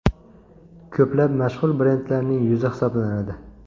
Ko‘plab mashhur brendlarining yuzi hisoblanadi.